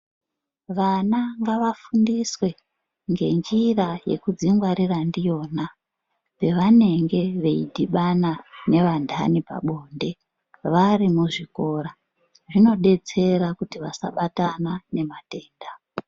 Vana ngavafundiswe ngenjira yekudzingwarira ndiyona pavanenge veidhibana nevantani pabonde varimuzvikora zvinodetsera kuti vasabatana nematenda.